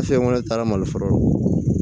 Fɛn wɛrɛ taara mali fɔlɔ